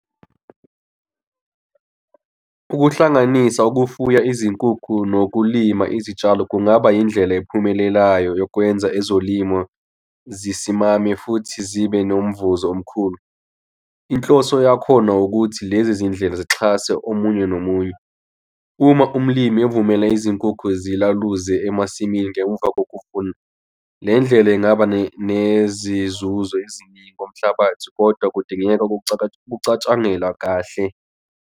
Ukuhlanganisa ukufuya izinkukhu nokulima izitshalo kungaba indlela ephumelelayo yokwenza ezolimo. zisimame futhi zibe nomvuzo omkhulu. Inhloso yakhona ukuthi lezi zindlela sixhase omunye nomunye uma umlimi evumele izinkukhu zilaluze emasimini ngemuva kokuvuna le ndlela engaba nezinzuzo eziningi komhlabathi kodwa kudingeka kucatshangelwa kahle.